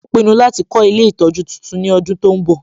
Ó pinnu láti kọ́ ilé ìtọjú titun ní ọdún tó ń bọ̀